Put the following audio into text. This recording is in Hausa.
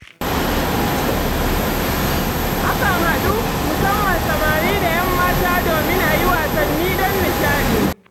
Akan haɗu, musamman samari da 'yan mata domin a yi wasanni don nishaɗi.